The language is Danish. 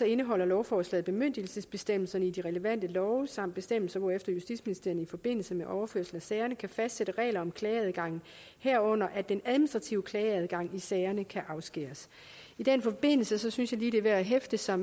indeholder lovforslaget bemyndigelsesbestemmelserne i de relevante love samt bestemmelser hvorefter justitsministeriet i forbindelse med overførsel af sagerne kan fastsætte regler om klageadgangen herunder at den administrative klageadgang i sagerne kan afskæres i den forbindelse synes jeg lige det er værd at hæfte sig